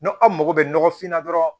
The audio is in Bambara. N'aw mago bɛ nɔgɔfin na dɔrɔn